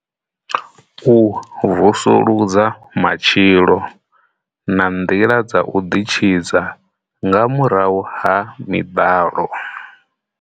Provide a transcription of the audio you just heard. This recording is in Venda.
U vusuludza matshilo na nḓila dza u ḓitshidza nga murahu ha miḓalo.